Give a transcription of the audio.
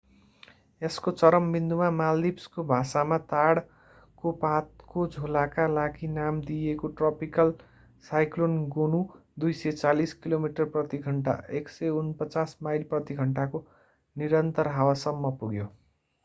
यसको चरम विन्दुमा मालदिभ्सको भाषामा ताडको पातको झोलाका लागि नाम दिइएको ट्रपिकल साइक्लोन गोनु 240 किलोमिटर प्रति घण्टा 149 माइल प्रति घण्टा को निरन्तर हावासम्म पुग्यो।